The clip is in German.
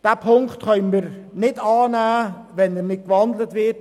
Wir können ihn nicht annehmen, wenn er nicht gewandelt wird.